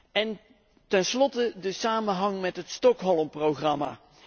En ten slotte over de samenhang met het Stockholm programma.